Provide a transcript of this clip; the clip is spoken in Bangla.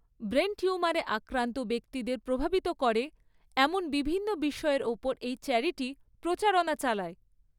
ব্রেন টিউমারে আক্রান্ত ব্যক্তিদের প্রভাবিত করে এমন বিভিন্ন বিষয়ের ওপর এই চ্যারিটি প্রচারণা চালায়।